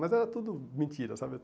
Mas era tudo mentira, sabe?